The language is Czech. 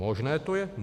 Možné to je.